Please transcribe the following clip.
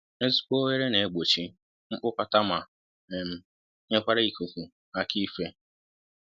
Ezigbo oghere n'egbochi mkpụkọta ma um nyekwara ikuku aka ife